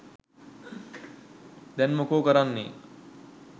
දැන් මොකො කරන්නෙ